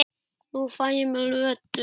Nú fæ ég mér Lödu.